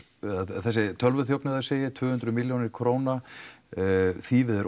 eða þessi tölvuþjófnaður segi ég tvö hundruð milljónir króna þýfið er